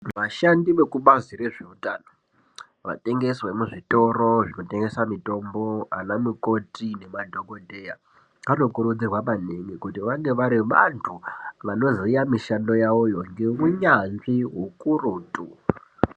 Vashandi vekubazi rezveutano vatengesi vemuzvitoro zvinotengese mitombo ana mukoti nemadhogodheya. Vanokurudzirwa maningi kuti vange vari vantu vanoziya mishando yavoyo ngeunyanzvi hukurutu.